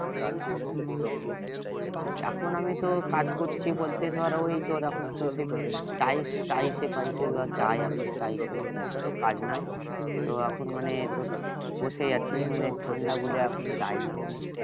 এখন আমিতো কাজ করছি বলতে ধর ওই তোর এখন টাইস টাইসে পাইসে ধর যায় এখন টাইসে এখন অতো তো কাজ নাই তো এখন মানে বসেই আছি মানে ঠান্ডা বলে এখন যায় না মানে